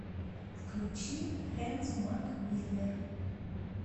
включи хэндс мак миллер